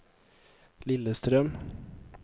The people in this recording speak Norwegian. Lillestrøm